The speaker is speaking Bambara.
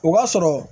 O b'a sɔrɔ